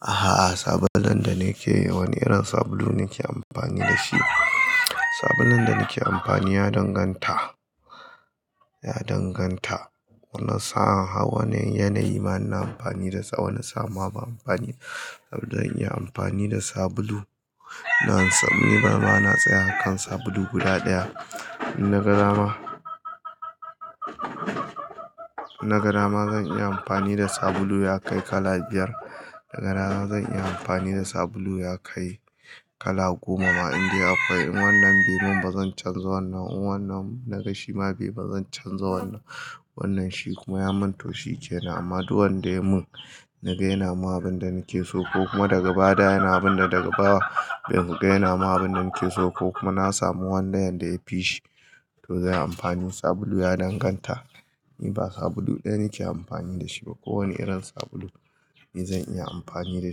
Ahh. Sabulun da nake wani irin sabulu nake amfani dashi? Sabulun da nake amfani ya danganta, ya danganta. Wani sa'a wani yanayi bana amfani da tsawon, wani sa'a ma bana amfani. Don in iya amfani da sabulu, na ni bana tsaya kan sabulu guda ɗaya. Nagadama, nagadama zan iya amfani da sabulu ya kai kala biyar. Nagadama zan iya amfani da sabulu ya kai kala goma ma in dai akwai. In wannan be mun bazan canza wannan, in wannan na gashi ma be bazan canza wannan. Wannan shi kuma ya mun to shi ke nan. Amma duk wanda ya mun naga yana mun abin da nake so ko kuma daga baya yana abin da daga baya be mun yana mun abin da nake so ko kuma na samu wanda yadda yafi shi to zan yi amfani. Sabulu ya danganta. Ni ba sabulu ɗaya nake amfani da shi ba. Ko wane irin sabulu ni zan iya amfani da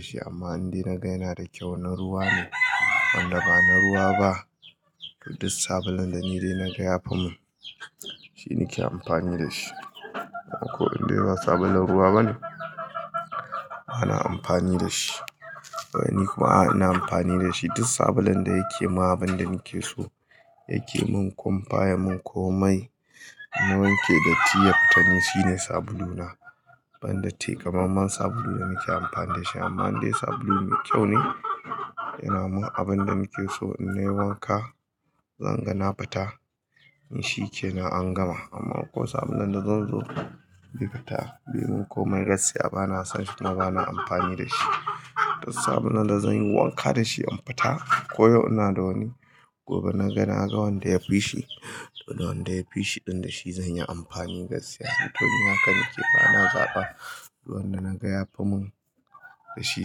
shi amma in dai na ga yana da kyau na ruwa ne, wanda ba na ruwa ba duk duk sabulun da ni dai naga yafi mun, shi nake amfani da shi. Ko in bai sabulun ruwa bane, bana amfani da shi. Nikuma a'a ina amfani dashi. Duk sabulun da yake mun abin da nake so yake mun kumfaya mun komai na wanke datti ya fita ne, shine sabuluna. Ban data kamammen sabulu da nake amfani da shi amma in dai sabulu mai kyau ne yana mun abin da nake so in nayi wanka, zan ga na fita in shi ke na an gama. Amma ko sabulun da zan zo be fita, be mun komai gaskiya bana son shi ba na amfani da shi. Duk sabulun da zan yi wanka da shi in fita ko ya'u ina da wani gobe naga na ga wanda yafi shi to wanda yafi shi din da shi zan yi amfani gaskiya. To ni haka nake ba na zaɓa. Duk wanda naga yafi mun da shi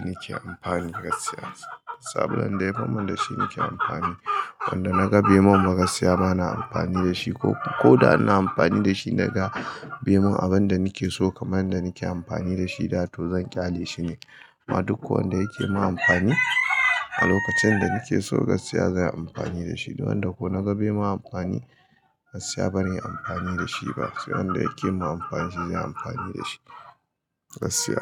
nake amfani gaskiya. Sabulun da yafi mun da shi nake amfani. Wanda naga be mun ba gaskiya bana amfani da shi ko, ko da ina amfani da shi naga be mun abin da nake so kamar yadda nake amfani da shi da to zan ƙyale shi ne. Amma duk wanda yake min amfani a lokacin danake so gaskiya zanyi amfani dashi. Duk wanda ko naga be mun amfani gaskiya bana yin amfani da shi ba. Sai wanda yake mun amfani shi zan yi amfani da shi gaskiya.